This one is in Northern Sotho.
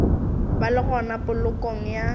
ba le gona polokong ya